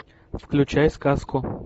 включай сказку